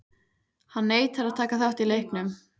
Hann neitar að taka þátt í leiknum.